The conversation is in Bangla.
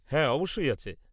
-হ্যাঁ অবশ্যই আছে।